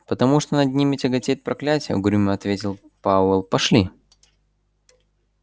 потому что над ними тяготеет проклятие угрюмо ответил пауэлл пошли